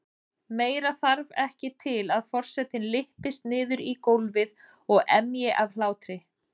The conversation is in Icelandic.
Meira þarf ekki til að forsetinn lyppist niður í gólfið og emji af hlátri.